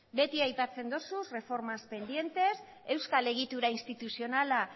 beti aipatzen dozu reformas pendientes euskal egitura instituzionala